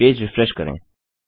page refresh करें